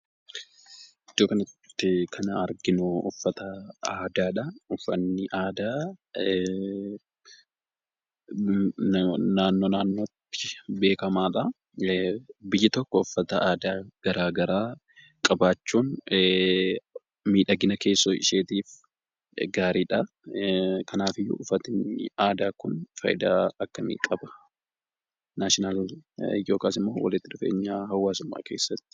Iddoo kanatti kan arginu uffata aadaadha. Uffanni aadaa naannoo, naannootti beekamadha. biyyi tokko uffata aadaa garaagara qabaachuun miidhagina keessoo isheetiif gaariidha. kanaafiyyuu uffatni aadaa kun faayidaa akkami qaba?